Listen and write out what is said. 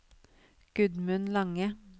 Gudmund Lange